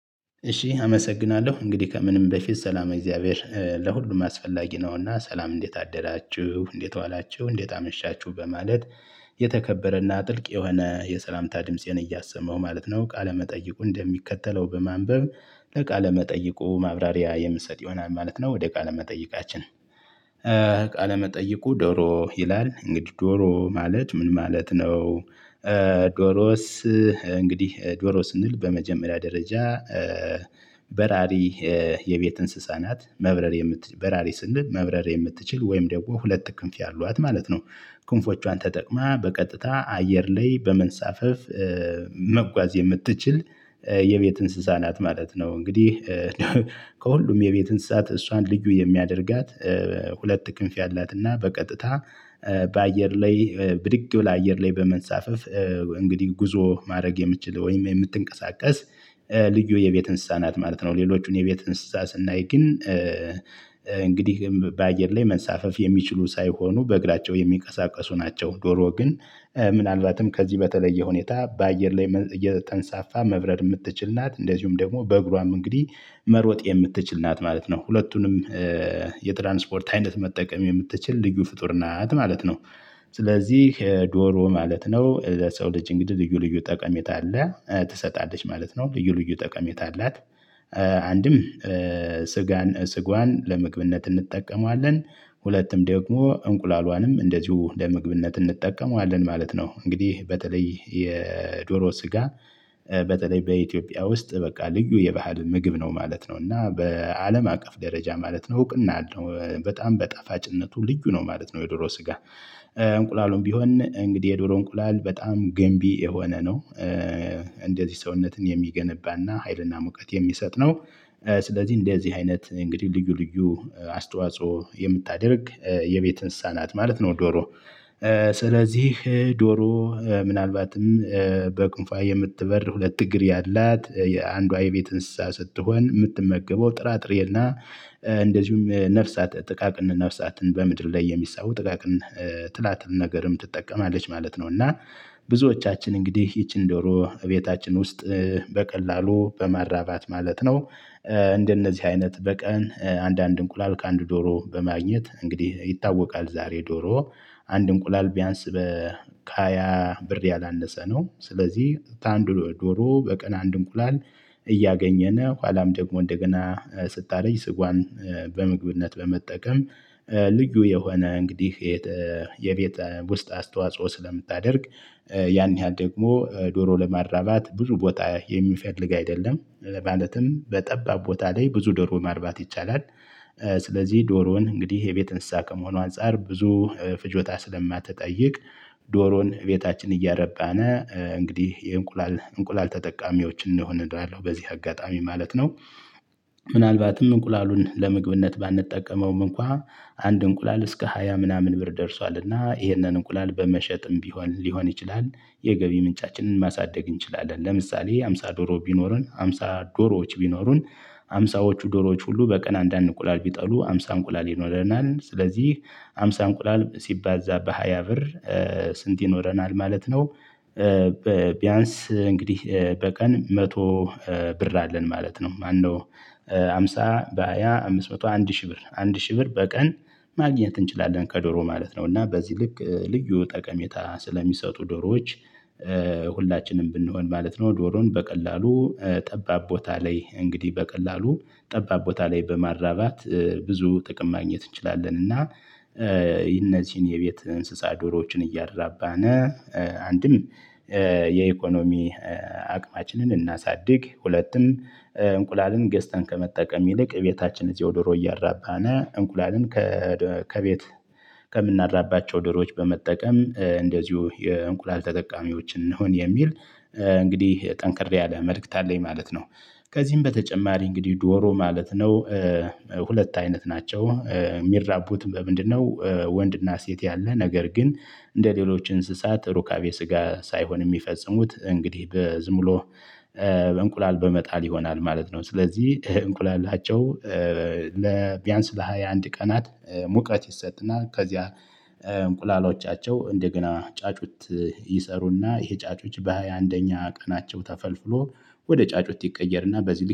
እሺ አመሰግናለሁ እንግዲህ ከምንም በፊት ሰላመ እግዚአብሔር ለሁሉም አስፈላጊ ነውና ሰላም እንዴት አደራችሁ እንዴት ዋላችሁ እንዴት አመሻችሁ በማለት የተከበረና ጥልቅ የሆነ የሰላምታ ድምፄን እያሰማው ማለት ነው። ቃለመጠይቁን እንደሚከተለው በማንበብ ለቃለመጠይቁ ማብራሪያ የምሰጥ ይሆናል ማለት ነው። ወደ ቃለ መጠይቃችን። ቃለ መጠይቁ ዶሮ ይላል እንግዲህ ዶሮ ማለት ምን ማለት ነው? ዶሮስ። እንግዲህ ዶሮ ስንል በመጀመሪያ ደረጃ። በራሪ የቤት እንስሳናት መብረር የምትችል በራሪ ስንል መብረር የምትችል ወይም ደግሞ ሁለት ክንፍ ያሏት ማለት ነው። ክንፎቿን ተጠቅማ በቀጥታ አየር ላይ በመንሳፈፍ። መጓዝ የምትችል የቤት እንስሳ ናት ማለት ነው። እንግዲህ። ከሁሉም የቤት እንስሳት እሷን ልዩ የሚያደርጋት። ሁለት ክንፍ ያላት እና በቀጥታ በአየር ላይ ብድግ ብላ አየር ላይ በመንሳፈፍ። እንግዲህ ጉዞ ማረግ የምችል ወይም የምትንቀሳቀስ። ልዩ የቤት እንስሳናት ማለት ነው። ሌሎቹን የቤት እንስሳ ስናይ ግን እንግዲህም በአየር ላይ መንሳፈፍ የሚችሉ ሳይሆኑ በእግራቸው የሚንቀሳቀሱ ናቸው። ዶሮ ግን ምናልባትም ከዚህ በተለየ ሁኔታ በአየር ላይ እየ ተንሳፋ መብረር የምትችል ናት። እንደዚሁም ደግሞ በእግሯም እንግዲህ መሮጥ የምትችል ናት ማለት ነው። ሁለቱንም የትራንስፖርት አይነት መጠቀም የምትችል ልዩ ፍጡር ናት ማለት ነው። ስለዚህ ዶሮ ማለት ነው ለሰው ልጅ እንግዲህ ልዩ ልዩ ጠቀሜታ አለ ትሰጣለች ማለት ነው ልዩ ልዩ ጠቀሜታ አላት። አንድም ስጋን ስጓን ለምግብነት እንጠቀማለን። ሁለትም ደግሞ እንቁላሏንም እንደዚሁ ለምግብነት እንጠቀመዋለን ማለት ነው። እንግዲህ በተለይ የዶሮ ስጋ በተለይ በኢትዮጵያ ውስጥ በቃ ልዩ የባህል ምግብ ነው ማለት ነው። እና በአለም አቀፍ ደረጃ ማለት ነው እውቅና አለው በጣም በጠፋጭነቱ ልዩ ነው ማለት ነው። የድሮ ስጋ እንቁላሉን ቢሆን እንግዲህ የዶሮ እንቁላል በጣም ገንቢ የሆነ ነው። እንደዚህ ሰውነትን የሚገንባና ሀይልና ሙቀት የሚሰጥ ነው። ስለዚህ እንደዚህ አይነት እንግዲህ ልዩ ልዩ አስተዋጽኦ የምታደርግ የቤት እንስሳናት ማለት ነው። ዶሮ ስለዚህ ዶሮ ምናልባትም በክንፏ የምትበር ሁለት እግር ያላት የአንዷ የቤት እንስሳ ስትሆን የምትመገበው ጥራጥሬና እንደዚሁም ነፍሳት ጥቃቅን ነፍሳትን በምድር ላይ የሚሳቡ ጥቃቅን ትላትል ነገርም ትጠቀማለች ማለት ነው። እና ብዙዎቻችን እንግዲህ ይቺን ደሮ እቤታችን ውስጥ በቀላሉ በማራባት ማለት ነው። እንደነዚህ አይነት በቀን አንዳንድ እንቁላል ከአንድ ዶሮ በማግኘት እንግዲህ ይታወቃል ዛሬ ዶሮ አንድ እንቁላል ቢያንስ ከሃያ ብር ያላነሰ ነው። ስለዚህ አንድ ዶሮ በቀን አንድ እንቁላል እያገኘነ ኋላም ደግሞ እንደገና ስታረጅ ስጓዋን በምግብነት በመጠቀም ልዩ የሆነ እንግዲህ የቤት ውስጥ አስተዋጽኦ ስለምታደርግ ያን ያህል ደግሞ ዶሮ ለማራባት ብዙ ቦታ የሚፈልግ አይደለም ማለትም በጠባብ ቦታ ላይ ብዙ ዶሮ ማርባት ይቻላል። ስለዚህ ዶሮን እንግዲህ የቤት እንስሳ ከመሆኑ አንፃር ብዙ ፍጆታ ስለማትጠይቅ ዶሮን ቤታችን እያረባን እንግዲህ የእንቁላል እንቁላል ተጠቃሚዎች እንሁን እላለው በዚህ አጋጣሚ ማለት ነው። ምናልባትም እንቁላሉን ለመግብነት ባንጠቀመውም እንኳን አንድ እንቁላል እስከ ሃያ ምናምን ብር ደርሷልና ይህንን እንቁላል በመሸጥም ቢሆን ሊሆን ይችላል። የገቢ ምንጫችንን ማሳደግ እንችላለን ለምሳሌ ሃምሳ ዶሮ ቢኖረን ሃምሳ ዶሮዎች ቢኖሩን ሃምሳዎቹ ዶሮዎች ሁሉ በቀን አንዳንድ ቁላል ቢጥሉ ሃምሳ እንቁላል ይኖረናል። ስለዚህ ሃምሳ እንቁላል ሲባዛ በሃያ ብር ስንት ይኖረናል ማለት ነው? ቢያንስ እንግዲህ በቀን መቶ ብር አለን ማለት ነው። ማነው? ሃምሳ በሃያ አምስት መቶ አንድ ሺህ ብር አንድ ሺህ ብር በቀን ማግኘት እንችላለን ከዶሮ ማለት ነው። እና በዚህ ልክ ልዩ ጠቀሜታ ስለሚሰጡ ዶሮዎች። ሁላችንም ብንሆን ማለት ነው። ዶሮን በቀላሉ ጠባብ ቦታ ላይ እንግዲህ በቀላሉ ጠባብ ቦታ ላይ በማራባት ብዙ ጥቅም ማግኘት እንችላለን እና። እነዚህን የቤት እንስሳ ዶሮዎችን እያራባን አንድም የኢኮኖሚ አቅማችንን እናሳድግ ሁለቱም እንቁላልን ገዝተን ከመጠቀም ይልቅ ቤታችን እዚሁ ድሮ እያራባና እንቁላልን ከቤት ከምናራባቸው ዶሮች በመጠቀም እንደዚሁ የእንቁላል ተጠቃሚዎች እንሁን የሚል እንግዲህ ጠንክር ያለ መልእክት አለኝ ማለት ነው። ከዚህም በተጨማሪ እንግዲህ ዶሮ ማለት ነው። ሁለት አይነት ናቸው የሚራቡት በምንድነው? ወንድና ሴት ያለ ነገር ግን እንደሌሎች እንስሳት ሩካቤ ስጋ ሳይሆን የሚፈጽሙት እንግዲህ በዝምሎ በእንቁላል በመጣል ይሆናል ማለት ነው። ስለዚህ እንቁላላቸው ቢያንስ ለሃያ አንድ ቀናት ሙቀት ይሰጥና ከዚያ እንቁላሎቻቸው እንደገና ጫጩት። ይሰሩና ይሄ ጫጩት በሃያ አንደኛ ቀናቸው ተፈልፍሎ ወደ ጫጩት ይቀየርና በዚህ ልክ